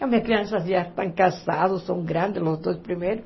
As minhas crianças já estão casadas, são grandes, os dois primeiros.